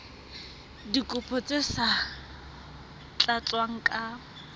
dikopo tse sa tlatswang ka